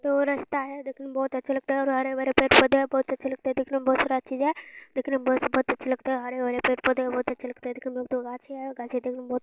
दो रास्ता है देखने मे बहुत अच्छा लगता ओर हरे भरे पेड़ पौधे है बहुत अच्छे लगते है दिखने में बहुत सारी चीज़ है दिखने में बहुत बहुत अच्छे लगता है हरे भरे पेड़ पौधे है बहुत अच्छे लगते हैं बहुत अच्छे लगते हैं।